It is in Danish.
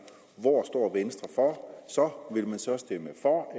hvor står venstre så vil man så stemme for